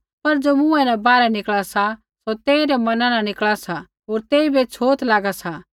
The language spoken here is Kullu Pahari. पर ज़ो मुँहै न बाहरै निकल़ा सा सौ तेइरै मना न निकल़ा सा होर तेइबै छ़ोत लागा सा